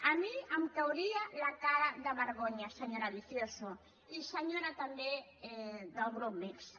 a mi em cauria la cara de vergonya senyora vicioso i senyora també del grup mixt